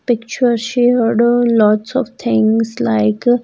Picture shared a lots of things like --